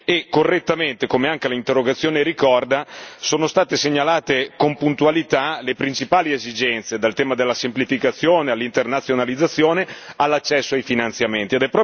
e correttamente, come anche l'interrogazione ricorda, sono state segnalate con puntualità le principali esigenze dal tema della semplificazione, all'internazionalizzazione, all'accesso ai finanziamenti.